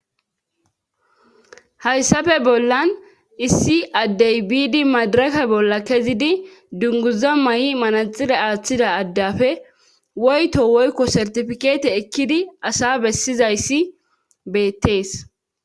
hayssafe bollan issi addey biidi madarake bolla kezidi dunguza may7i manaxire aaththida addafe woyto woykko sertifikeete ekkidi asa bessizayssi beettees